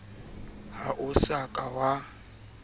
ha o sa ka wa